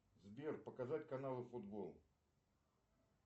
сбер показать каналы футбол